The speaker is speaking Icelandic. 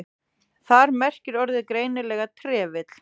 Þar merkir orðið greinilega trefill.